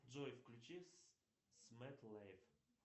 джой включи смэт лэйф